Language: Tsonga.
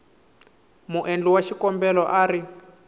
muendli wa xikombelo a ri